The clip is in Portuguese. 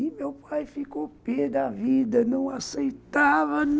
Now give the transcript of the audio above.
E meu pai ficou pê da vida, não aceitava.